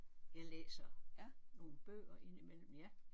Jeg læser nogle bøger indimellem ja